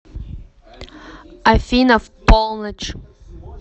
афина в полночь